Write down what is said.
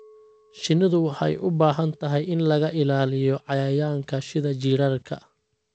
Shinnidu waxay u baahan tahay in laga ilaaliyo cayayaanka sida jiirarka.